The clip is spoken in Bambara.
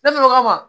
Ne fana ka ma